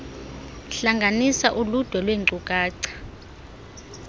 hlanganisa uludwe lwenkcukacha